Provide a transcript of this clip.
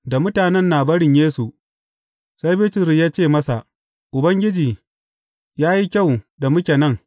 Da mutanen na barin Yesu, sai Bitrus ya ce masa, Ubangiji, ya yi kyau da muke nan.